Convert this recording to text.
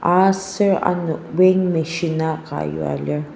aser ano weighing machine anka yua lir.